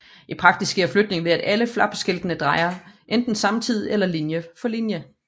I praksis sker flytningen ved at alle flapskiltene drejer enten samtidig eller linje for linje